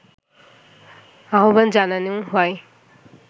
আহ্বান জানানো হয়